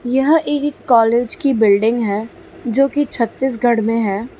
यह एक कॉलेज की बिल्डिंग है जो कि छत्तीसगढ़ में है।